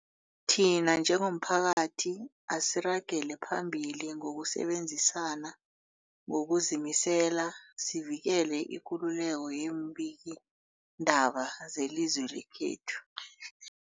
Thina njengomphakathi, asiragele phambili ngokusebenzisana ngokuzimisela sivikele ikululeko yeembikiindaba zelizwe lekhethu.